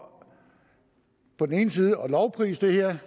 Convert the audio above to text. på den ene side at lovprise det her